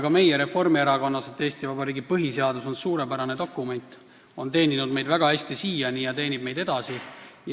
Ka meie Reformierakonnas arvame, et Eesti Vabariigi põhiseadus on suurepärane dokument, see on meid siiani väga hästi teeninud ja teenib edasi.